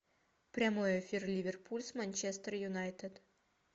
прямой эфир ливерпуль с манчестер юнайтед